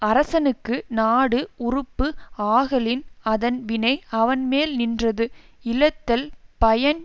அரசனுக்கு நாடு உறுப்பு ஆகலின் அதன் வினை அவன்மேல் நின்றது இழத்தல் பயன்